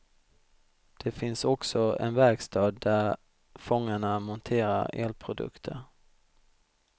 Det finns också en verkstad där fångarna monterar elprodukter.